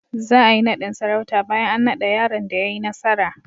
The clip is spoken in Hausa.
Za a yi naɗin sarauta bayan an naɗa yaron da ya yi nasara.